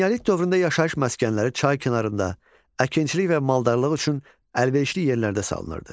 Eneolit dövründə yaşayış məskənləri çay kənarında, əkinçilik və maldarlıq üçün əlverişli yerlərdə salınırdı.